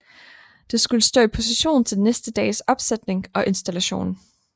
Det skulle stå i position til næste dags opsætning og installation